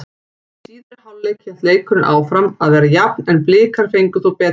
Í síðari hálfleik hélt leikurinn áfram að vera jafn en Blikar fengu þó betri færi.